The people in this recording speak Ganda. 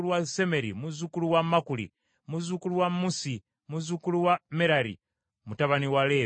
muzzukulu wa Makuli, muzzukulu wa Musi, muzzukulu wa Merali, mutabani wa Leevi.